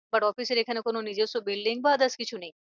But office এর এখানে কোনো নিজেস্য কোনো building বা others কিছু নেই।